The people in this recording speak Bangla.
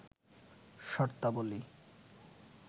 শর্তাবলী